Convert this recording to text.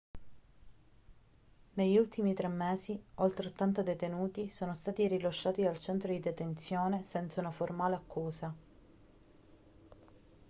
negli ultimi 3 mesi oltre 80 detenuti sono stati rilasciati dal centro di detenzione senza una formale accusa